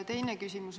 Teine küsimus.